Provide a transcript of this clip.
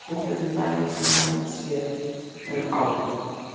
Ég ætlaði til dæmis í kjól hérna um daginn sem hún hafði ekki séð áður.